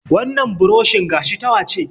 Wannan buroshin gashi ta wa ce